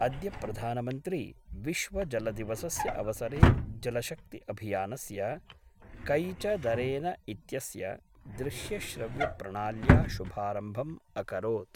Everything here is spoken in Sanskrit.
अद्य प्रधानमन्त्री विश्वजलदिवसस्य अवसरे जलशक्ति अभियानस्य ' कैच द रेन इत्यस्य दृश्यश्रव्यप्रणाल्या शुभारम्भम् अकरोत्।